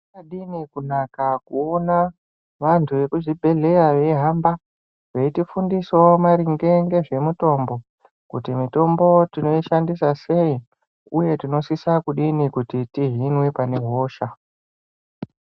Zvakadini kunaka kuona vantu vemuzvibhedhlera veihamba veifundisawo maringe nezvemitombo kuti mitombo tinoishandisa sei uye tinosisa kudini kuti kuhina pane hosha.